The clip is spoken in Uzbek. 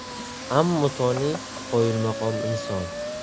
Ammo Toni qoyilmaqom inson.